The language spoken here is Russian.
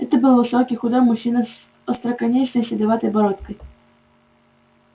это был высокий худой мужчина с остроконечной седоватой бородкой